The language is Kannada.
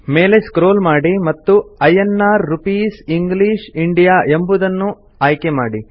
ಮೇಲೆಸ್ಕ್ರೋಲ್ ಮಾಡಿ ಮತ್ತು ಐಎನ್ಆರ್ ರೂಪೀಸ್ ಇಂಗ್ಲಿಷ್ ಎಂಬುದನ್ನು ಆಯ್ಕೆ ಮಾಡಿ